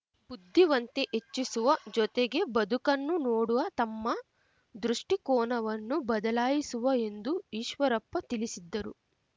ಬುದ್ಧಿವಂತೆ ಹೆಚ್ಚಿಸುವ ಜೊತೆಗೆ ಬದುಕನ್ನು ನೋಡುವ ತಮ್ಮ ದೃಷ್ಟಿಕೋನವನ್ನೂ ಬದಲಾಯಿಸುವ ಎಂದು ಈಶ್ವರಪ್ಪ ತಿಳಿಸಿದ್ದರು